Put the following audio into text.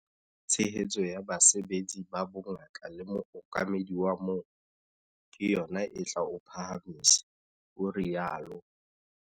Tshehetso ya basebetsi ba bongaka le mookamedi wa moo - ke yona e tla o phahamisa, o rialo.